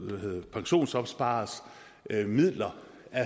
pensionsopspareres midler